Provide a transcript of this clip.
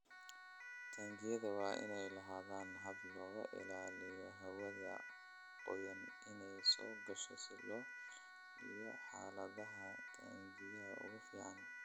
Taangiyada waa inay lahaadaan habab looga ilaaliyo hawada qoyan inay soo gasho si loo ilaaliyo xaaladaha taangiga ugu fiican.